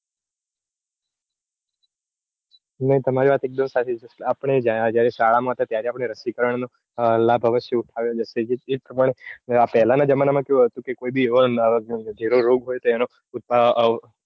તમારી વાત એકદમ સાચી છે આપણે શાળા માં હતા ત્યારે આપણે રસીકરણ નો લાભ અવશ્ય ઉઠાવ્યો હતો. તેથી તે ખબર પેલાના જમાના માં કેવું હતું કે કોઈબી રોગ હોય તો એનો ઉત્પાદન